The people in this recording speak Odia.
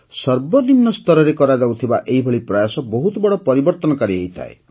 ସର୍ବନିମ୍ନ ସ୍ତରରେ କରାଯାଉଥିବା ଏହିଭଳି ପ୍ରୟାସ ବହୁତ ବଡ଼ ପରିବର୍ତ୍ତନକାରୀ ହୋଇଥାଏ